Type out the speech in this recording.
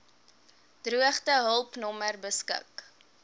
droogtehulp nommer beskik